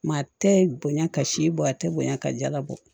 Maa tɛ bonya ka si bɔ a tɛ bonya ka jalabɔ